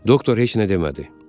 Doktor heç nə demədi.